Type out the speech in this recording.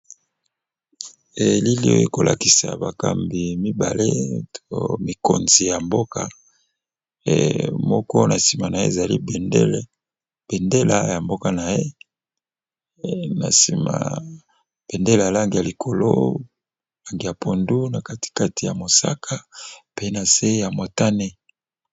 Elili oyo ko lakisa bakambi mibale to mikonzi ya mboka . Moko na sima na ye ezali bendele ya mboka na ye na sima bendelale, lang ya likolo lnagi ya pondu, na katikati ya mosaka pe na se ya motane .